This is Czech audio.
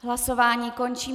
Hlasování končím.